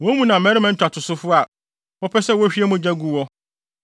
Woabu mʼakronkronne animtiaa na woagu me homenna ho fi.